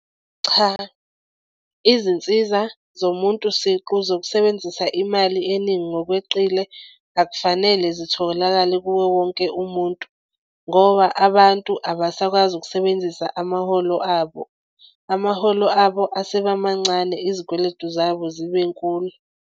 Cha izinsiza zomuntu siqu zokusebenzisa imali eningi ngokweqile akufanele zitholakale kuwo wonke umuntu, ngoba abantu abasakwazi ukusebenzisa amaholo abo amaholo abo aseba mancane izikweletu zabo zibe nkulu.